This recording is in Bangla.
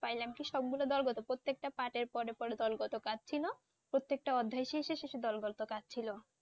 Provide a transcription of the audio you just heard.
পাইলাম কি সবগুলো দল কত প্রত্যেকটা পাটের পরে পরে দলগত কাজ ছিল প্রত্যেকটা অধ্যায় শেষে শেষে দলগত কাজ ছিল